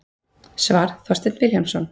Svar: Þorsteinn Vilhjálmsson